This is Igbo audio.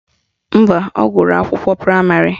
Mba, ọ gụrụ ụlọakwụkwọ praịmarị